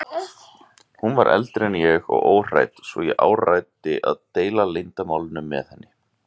Hún var eldri en ég og óhrædd svo ég áræddi að deila leyndarmálinu með henni.